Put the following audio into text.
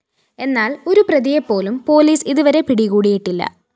എന്നാല്‍ ഒരു പ്രതിയെപ്പോലും പോലീസ് ഇതുവരെ പിടികൂടിയിട്ടില്ല